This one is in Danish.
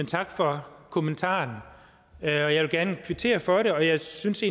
tak for kommentaren jeg vil gerne kvittere for den og jeg synes